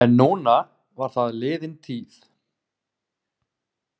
En núna var það liðin tíð.